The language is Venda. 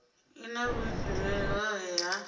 i na vhuifhinduleli hohe ha